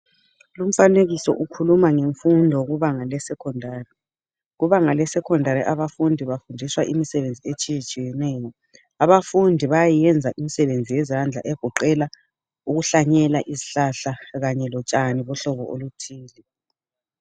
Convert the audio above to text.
Lumfanekiso ukhuluma ngemfundo kubanga le secondary kubanga le secondary abafundi bafundiswa imisebenzi etshiyetshiyeneyo abafundi bayiyenza imisebenzi yezandla egoqela ukuhlanyela izihlahla kanye lotshani bohlobo olutshiyeneyo.